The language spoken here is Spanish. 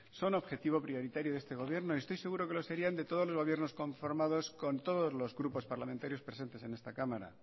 son objetivo prioritario de este gobierno y estoy seguro que lo serían de todos los gobiernos conformados con todos los grupos parlamentarios presentes en esta cámara